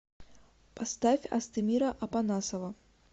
поставь астемира апанасова